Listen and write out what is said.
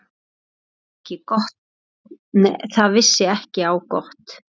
Það vissi ekki á gott.